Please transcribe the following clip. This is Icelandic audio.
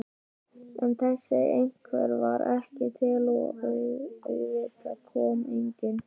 En þessi einhver var ekki til og auðvitað kom enginn.